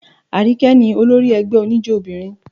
Àríkẹ́ ní olórí ẹgbẹ́ oníjó obìnrin.